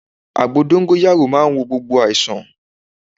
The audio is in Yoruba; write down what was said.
Àgbo dóngóyárò màa ń wo gbogbo àìsàn